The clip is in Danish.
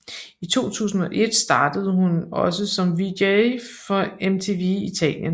I 2001 startede hun også som VJ for MTV Italien